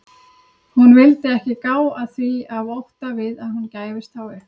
Hún vildi ekki gá að því af ótta við að hún gæfist þá upp.